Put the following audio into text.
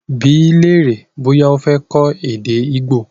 Bí lèrè bọ́yá o fé kọ èdè Igbo!